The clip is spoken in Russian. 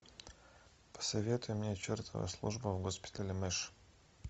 посоветуй мне чертова служба в госпитале мэш